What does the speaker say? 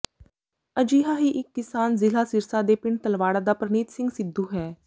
ਅਜਿਹਾ ਹੀ ਇੱਕ ਕਿਸਾਨ ਜ਼ਿਲ੍ਹਾ ਸਿਰਸਾ ਦੇ ਪਿੰਡ ਤਲਵਾਡ਼ਾ ਦਾ ਪਰਨੀਤ ਸਿੰਘ ਸਿੱਧੂ ਹੈ